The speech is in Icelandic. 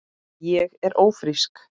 Ég er ófrísk!